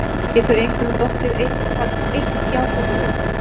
Getur einhverjum dottið eitthvað eitt jákvætt í hug?